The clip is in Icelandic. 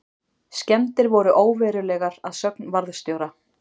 Skemmdir voru óverulegar að sögn varðstjóra